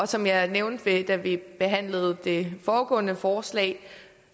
som jeg nævnte da vi behandlede det foregående forslag